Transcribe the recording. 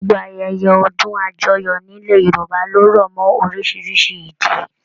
Gbogbo ayẹyẹ ọdún àjọyọ̀ nílẹ̀ Yorùbá lo rọ mọ orísirísi ìdí.